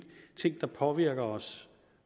ting er påvirker os